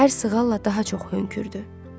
Hər sığalla daha çox hönkürdü.